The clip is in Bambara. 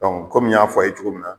kɔmi y'a fɔ a ye cogo min na